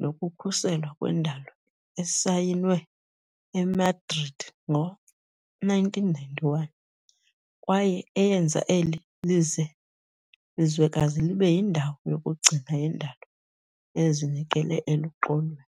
nokukhuselwa kwendalo esayinwe eMadrid ngo -1991 kwaye eyenza eli lize lizwekazi libe "yindawo yokugcina yendalo ezinikele eluxolweni."